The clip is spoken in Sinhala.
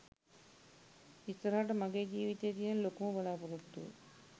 ඉස්සරහට මගේ ජීවිතේ තියෙන ලොකුම බලා‍පොරොත්තුව